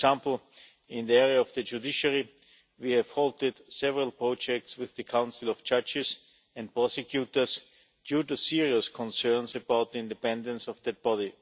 For example, in the area of the judiciary we have halted several projects with the Council of Judges and Prosecutors due to serious concerns about the independence of that body.